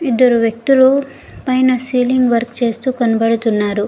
ఇద్దరు వ్యక్తులు పైన సియిలింగ్ వర్క్ చేస్తూ కనబడుతున్నారు.